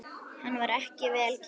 Hann var ekki vel gefinn.